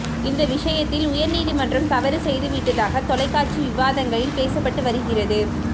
இந்த விஷயத்தில் உயர்நீதிமன்றம் தவறு செய்துவிட்டதாக தொலைக்காட்சி விவாதங்களில் பேசப்பட்டு வருகிறது